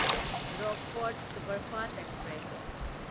Rockfort superfast express